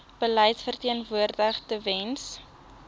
beleid verteenwoordig tewens